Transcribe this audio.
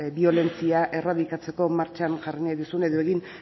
biolentzia erradikatzeko martxan jarri nahi duzun edo egin